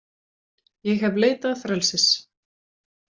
Ég hef leitað frelsis,